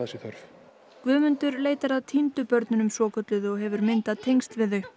sé þörf Guðmundur leitar að týndu börnunum svokölluðu og hefur myndað tengsl við þau